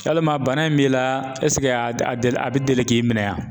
Yalima bana in b'i la a deli a bɛ deli k'i minɛ wa ?